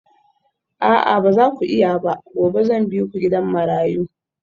A'a ba za ku iya ba gobe zan bi ku gidan marayu